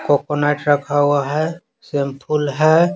Coconut रखा हुआ है सिंपल है।